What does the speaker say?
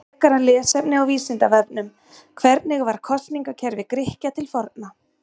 Frekara lesefni á Vísindavefnum: Hvernig var kosningakerfi Grikkja til forna?